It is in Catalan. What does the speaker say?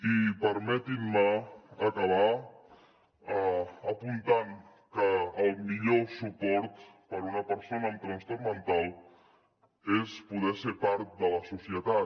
i permetin me acabar apuntant que el millor suport per a una persona amb trastorn mental és poder ser part de la societat